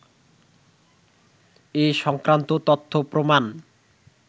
এ সংক্রান্ত তথ্য-প্রমাণ